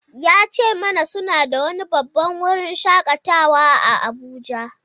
Ya ce mana suna da wani babban wurin shakatawa a Abuja.